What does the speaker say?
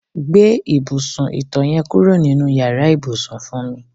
Gbé ìbùsùn ìto̩ ye̩n kúrò nínú yàrá ìbùsùn fún mi.